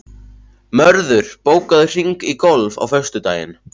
Mörður, bókaðu hring í golf á föstudaginn.